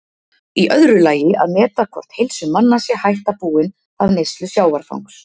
Í öðru lagi að meta hvort heilsu manna sé hætta búin af neyslu sjávarfangs.